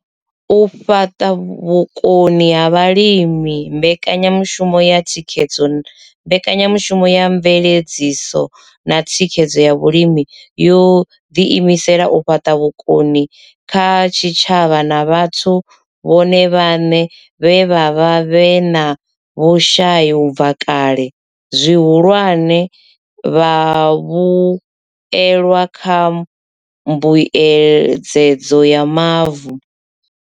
U fhaṱa vhukoni kha vhalimi Mbekanyamushumo ya mveledziso na thikhedzo ya Vhalimi yo ḓi imisela u fhaṱa vhukoni kha zwitshavha na vhathu vhone vhaṋe vhe vha vha vhe na vhushai u bva kale, zwihulwane, vhavhuelwa kha mbuedzedzo ya mavu.